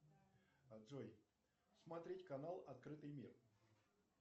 джой смотреть канал открытый мир